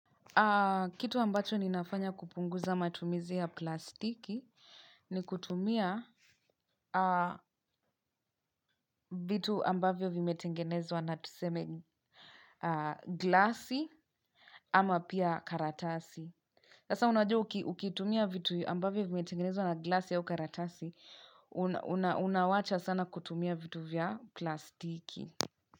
Kitu ambacho ninafanya kupunguza matumizi ya plastiki ni kutumia vitu ambavyo vimetengenezwa na tuseme glasi ama pia karatasi. Hasa unajua ukitumia vitu ambavyo vimetengenezwa na glasi au karatasi, unawacha sana kutumia vitu vya plastiki.